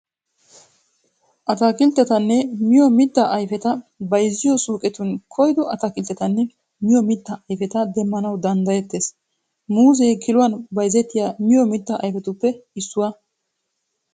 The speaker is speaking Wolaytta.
Ataakilttetanne miyo mittaa ayfeta bayziyo suuqetun koyido ataakilttetanne miyo mittaa ayfeta demmanawu danddayettes. Muuzee kiluwan bayzettiya miyo mittaa ayfetuppe issuwaa.